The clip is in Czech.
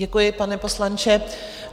Děkuji, pane poslanče.